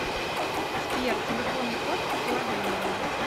сбер телефонный код лодейное